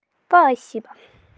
спасибо